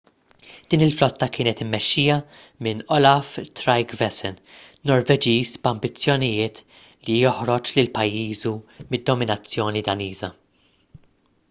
din il-flotta kienet immexxija minn olaf trygvasson norveġiż b'ambizzjonijiet li joħroġ lil pajjiżu mid-dominazzjoni daniża